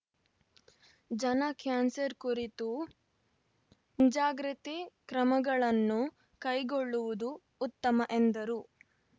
ಜನ ಕ್ಯಾನ್ಸರ್‌ ಕುರಿತು ಮುಂಜಾಗ್ರತೆ ಕ್ರಮಗಳನ್ನು ಕೈಗೊಳ್ಳುವುದು ಉತ್ತಮ ಎಂದರು